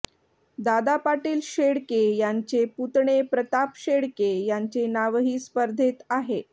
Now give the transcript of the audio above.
दादा पाटील शेळके यांचे पुतणे प्रताप शेळके यांचे नावही स्पर्धेत आहे